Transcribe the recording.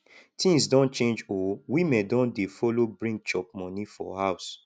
tins don change o women don dey follow bring chop moni for house